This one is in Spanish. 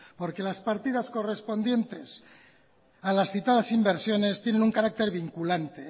correspondientes a las citadas inversiones tienen un carácter vinculante